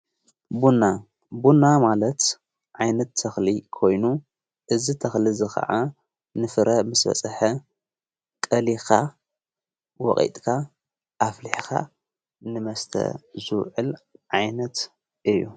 ብና ቡና ማለት ዓይነት ተኽሊ ኮይኑ እዝ ተኽሊ ዝ ኸዓ ንፍረ ምስ በጽሐ ቀሊኻ ወቒጥካ ኣፍሊሕኻ ንመስተ ዙኤል ዓይነት እዩ።